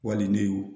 Wali ne ye